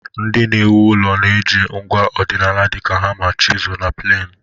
Ndị na-ewu ụlọ na-eji ngwa ọdịnala dịka hama, chisul na plainu.